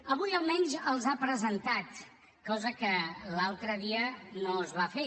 avui almenys els ha presentat cosa que l’altre dia no es va fer